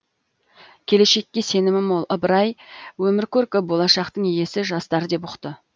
келешекке сенімі мол ыбырай өмір көркі болашақтың иесі жастар деп ұқты